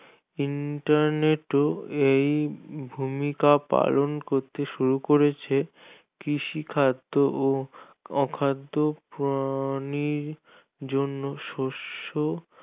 Internet ও এই ভূমিকা পালন করতে শুরু করেছে কৃষি খাদ্য ও অখাদ্য প্রাণীর জন্য শস্য